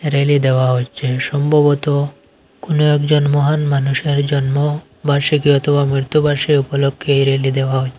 Rally দেওয়া হচ্ছে সম্ভবত কোন একজন মহান মানুষের জন্ম বার্ষিকী অথবা মৃত্যুবার্ষিকী উপলক্ষে রেলি দেয়া হচ্ছে।